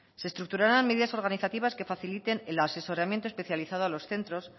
se estructurarán medidas organizativas que faciliten el asesoramiento especializado a los centros